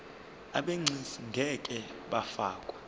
abegcis ngeke bafakwa